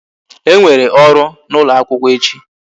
E nwere ọrụ n'ụlọ akwụkwọ echi